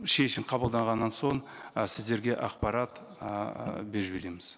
шешім қабылданғаннан соң ы сіздерге ақпарат ыыы беріп жібереміз